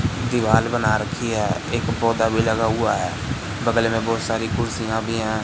दीवाल बना रखी है एक पौधा भी लगा हुआ है बगल में बहोत सारी कुर्सियां भी हैं।